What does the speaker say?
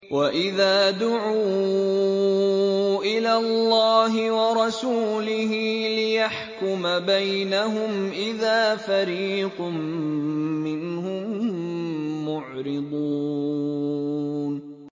وَإِذَا دُعُوا إِلَى اللَّهِ وَرَسُولِهِ لِيَحْكُمَ بَيْنَهُمْ إِذَا فَرِيقٌ مِّنْهُم مُّعْرِضُونَ